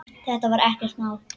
Þetta er ekkert mál!